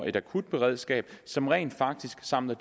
et akutberedskab som rent faktisk samler